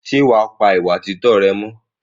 Ṣé wàá pa ìwà títọ́ rẹ mọ́?